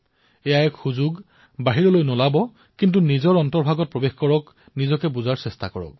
এয়াই সুযোগ বাহিৰনৈ নোলাব নিজৰ হৃদয়ত প্ৰৱেশ কৰক নিজকে জনাৰ প্ৰয়াস কৰক